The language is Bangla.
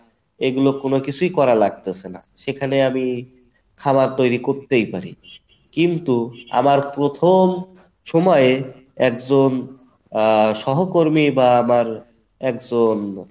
এইগুলো কোনো কিছুই করা লাগতেছে না সেখানে আমি খাবার তৈরী করতেই পারি কিন্তু আমার প্রথম সময়ে একজন আহ সহকর্মী বা আবার একজন